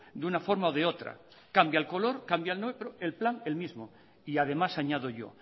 de una forma o de otra cambia el color cambia lo otro el plan lo mismo y además añado yo